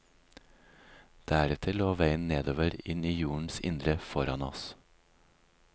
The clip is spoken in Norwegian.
Deretter lå veien nedover inn i jordens indre foran oss.